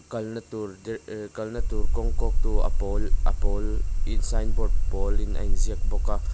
kalna tur der eh kalna tur kawng kawk tu a pawl a pawl in sign board pawl in a in ziak bawk a.